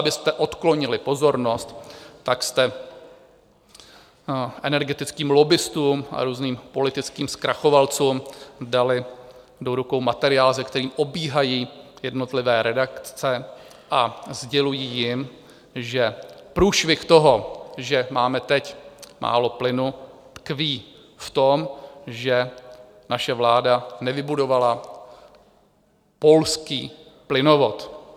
Abyste odklonili pozornost, tak jste energetickým lobbistům a různým politickým zkrachovancům dali do rukou materiál, se kterým obíhají jednotlivé redakce a sdělují jim, že průšvih toho, že máme teď málo plynu, tkví v tom, že naše vláda nevybudovala polský plynovod.